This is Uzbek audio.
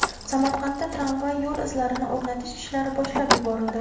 Samarqandda tramvay yo‘l izlarini o‘rnatish ishlari boshlab yuborildi.